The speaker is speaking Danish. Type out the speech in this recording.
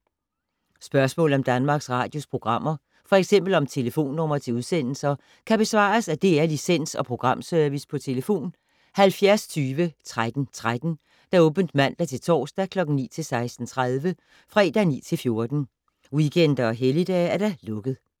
Spørgsmål om Danmarks Radios programmer, f.eks. om telefonnumre til udsendelser, kan besvares af DR Licens- og Programservice: tlf. 70 20 13 13, åbent mandag-torsdag 9.00-16.30, fredag 9.00-14.00, weekender og helligdage: lukket.